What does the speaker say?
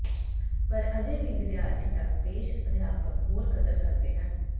ਪਰ ਅਜੇ ਵੀ ਵਿਦਿਆਰਥੀ ਤੱਕ ਪੇਸ਼ ਅਧਿਆਪਕ ਹੋਰ ਕਦਰ ਕਰਦੇ ਹਨ